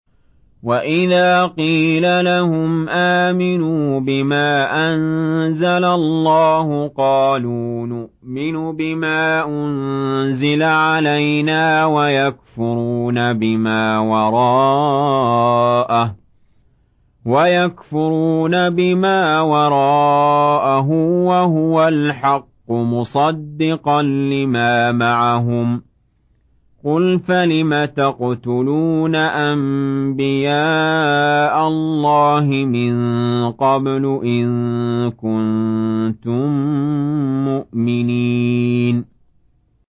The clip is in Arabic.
وَإِذَا قِيلَ لَهُمْ آمِنُوا بِمَا أَنزَلَ اللَّهُ قَالُوا نُؤْمِنُ بِمَا أُنزِلَ عَلَيْنَا وَيَكْفُرُونَ بِمَا وَرَاءَهُ وَهُوَ الْحَقُّ مُصَدِّقًا لِّمَا مَعَهُمْ ۗ قُلْ فَلِمَ تَقْتُلُونَ أَنبِيَاءَ اللَّهِ مِن قَبْلُ إِن كُنتُم مُّؤْمِنِينَ